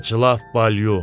Ey cəllaf Balyo!